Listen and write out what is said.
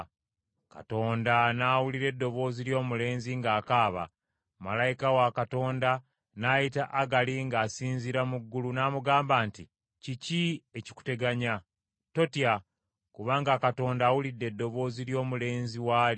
Katonda n’awulira eddoboozi ly’omulenzi ng’akaaba, malayika wa Katonda n’ayita Agali ng’asinziira mu ggulu n’amugamba nti, “Kiki ekikuteganya? Totya, kubanga Katonda awulidde eddoboozi ly’omulenzi w’ali.